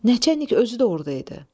Nəçənik özü də orda idi.